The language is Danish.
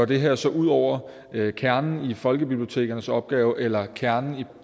det her så går ud over kernen i folkebibliotekernes opgave eller kernen i